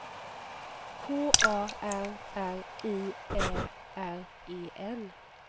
K A R R I Ä R E N